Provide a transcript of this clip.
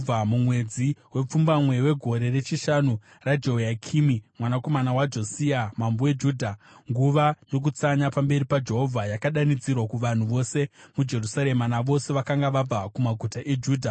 Mumwedzi wepfumbamwe wegore rechishanu raJehoyakimi mwanakomana waJosia mambo weJudha, nguva yokutsanya pamberi paJehovha yakadanidzirwa kuvanhu vose muJerusarema navose vakanga vabva kumaguta eJudha.